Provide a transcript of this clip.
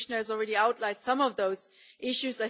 The Commissioner has already outlined some of those issues.